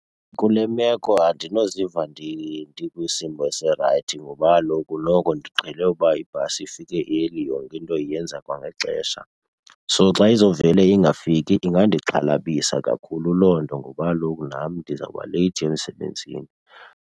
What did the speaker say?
Kule meko andinoziva ndikwisimo esirayithi ngoba kaloku noko ndiqhele uba ibhasi ifike early, yonke into iyenza kwangexesha. So xa izovele ingafiki ingandixhalabisa kakhulu loo nto ngoba kaloku nam ndizawuba leyithi emsebenzini.